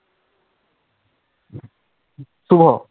শুভ,